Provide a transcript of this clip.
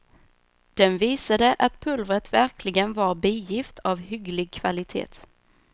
Den visade att pulvret verkligen var bigift, av hygglig kvalitet.